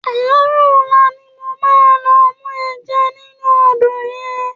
Àárò òlá ni mó má lò mú èjá ninú ódó yèn